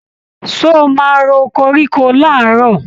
Ṣé o máa ro koríko làárọ̀?